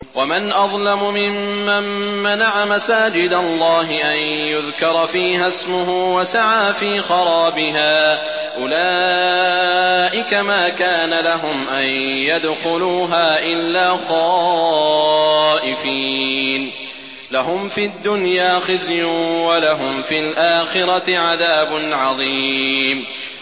وَمَنْ أَظْلَمُ مِمَّن مَّنَعَ مَسَاجِدَ اللَّهِ أَن يُذْكَرَ فِيهَا اسْمُهُ وَسَعَىٰ فِي خَرَابِهَا ۚ أُولَٰئِكَ مَا كَانَ لَهُمْ أَن يَدْخُلُوهَا إِلَّا خَائِفِينَ ۚ لَهُمْ فِي الدُّنْيَا خِزْيٌ وَلَهُمْ فِي الْآخِرَةِ عَذَابٌ عَظِيمٌ